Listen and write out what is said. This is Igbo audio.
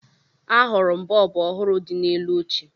Ahụrụ m bọọbụ ọhụrụ dị n'elu oche